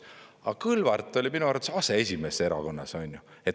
Aga Kõlvart oli minu arvates aseesimees erakonnas.